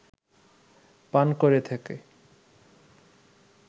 পান করে থাকে